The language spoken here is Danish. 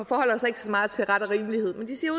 forholder sig ikke så meget til ret og rimelighed men de siger